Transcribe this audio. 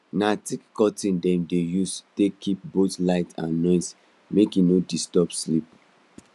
na thick curtains dem dey use take keep both light and noise make e no disturb sleep